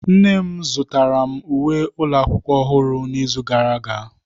Nne m zụtara m uwe ụlọ akwụkwọ ọhụrụ n'izu gara aga.